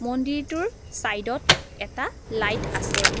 মন্দিৰটোৰ চাইডত এটা লাইট আছে।